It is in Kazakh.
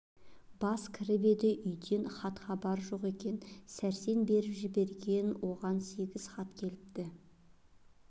бас кіріп еді үйден хат-хабар жоқ екен сәрсен беріп жіберген оған сегіз хат келіпті